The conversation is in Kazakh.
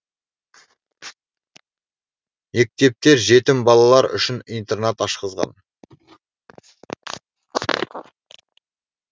мектептер жетім балалар үшін интернат ашқызған